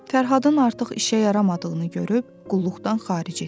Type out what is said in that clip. Fərhadın artıq işə yaramadığını görüb qulluqdan xaric etdilər.